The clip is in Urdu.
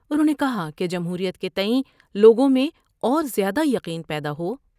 انہوں نے کہا کہ جمہوریت کے تئیں لوگوں میں اور زیادہ یقین پیدا ہو ،